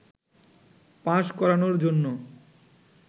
pass করানোর জন্য